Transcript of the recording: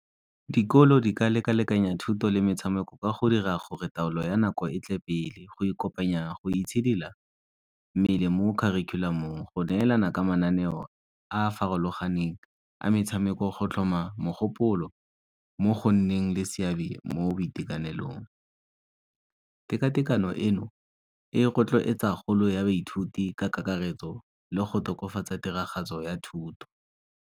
Dikolo di ka leka-lekanya thuto le metshameko ka go dira gore taolo ya nako e tle pele. Go e kopanya go itshidila mmele mo kharikhulamong, go neelana ka mananeo a a farologaneng a metshameko, go tlhoma mogopolo mo go nneng le seabe mo boitekanelong. Tekatekano eno e rotloetsa kgolo ya baithuti ka karetso le go tokafatsa tiragatso ya thuto.